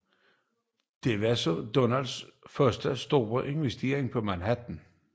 Dette var Donalds første store investering på Manhattan